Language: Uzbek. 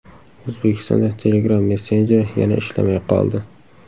O‘zbekistonda Telegram messenjeri yana ishlamay qoldi.